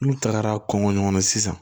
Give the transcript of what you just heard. N'u tagara kɔngɔ ɲɔgɔn na sisan